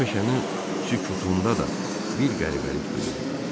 O meşənin sükutunda da bir qəribəlik duyurdu.